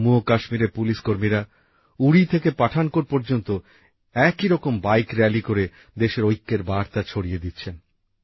জম্মু ও কাশ্মীরএর পুলিশ কর্মীরা উরি থেকে পাঠানকোট পর্যন্ত একই রকম বাইক রালি করে দেশের ঐক্যের বার্তা ছড়িয়ে দিচ্ছেন